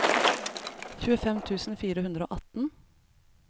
tjuefem tusen fire hundre og atten